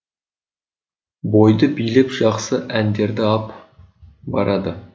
бойды билеп жақсы әндерді ап барады